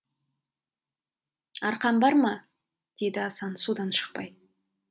арқан бар ма деді асан судан шықпай